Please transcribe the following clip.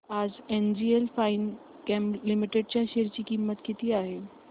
आज NGL Finechem Limited च्या share ची किंमत किती आहे